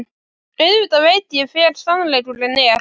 Auðvitað veit ég hver sannleikurinn er.